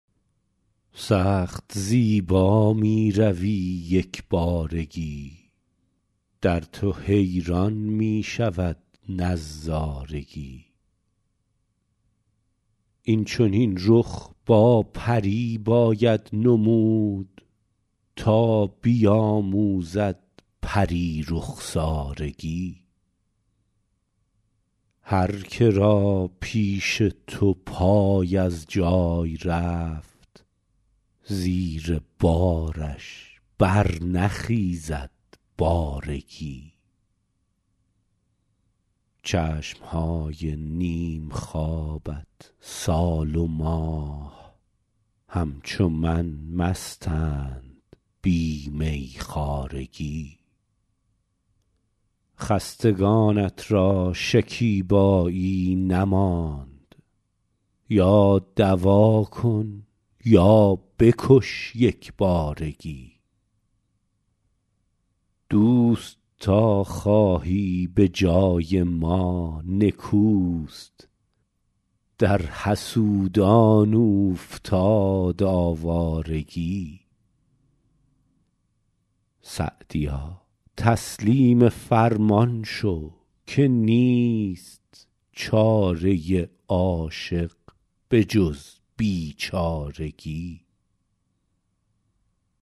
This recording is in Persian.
سخت زیبا می روی یک بارگی در تو حیران می شود نظارگی این چنین رخ با پری باید نمود تا بیاموزد پری رخسارگی هرکه را پیش تو پای از جای رفت زیر بارش برنخیزد بارگی چشم های نیم خوابت سال و ماه همچو من مستند بی میخوارگی خستگانت را شکیبایی نماند یا دوا کن یا بکش یک بارگی دوست تا خواهی به جای ما نکوست در حسودان اوفتاد آوارگی سعدیا تسلیم فرمان شو که نیست چاره عاشق به جز بیچارگی